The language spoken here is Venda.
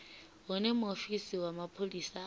hune muofisi wa mapholisa a